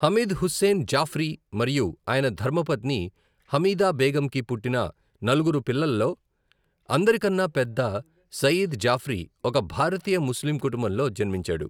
హమీద్ హుస్సేన్ జాఫ్రీ మరియు ఆయన ధర్మపత్ని హమీదా బేగమ్‌కి పుట్టిన నలుగురు పిల్లలో అందరికన్నా పెద్ద, సయీద్ జాఫ్రీ ఒక భారతీయ ముస్లిం కుటుంబంలో జన్మించాడు.